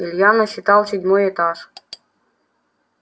илья насчитал седьмой этаж